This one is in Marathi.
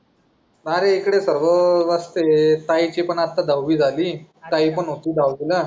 अरे इकडे सर्व मस्त आहे ताई ची पन आता दहावी झाली ताई पण हिती दहावीला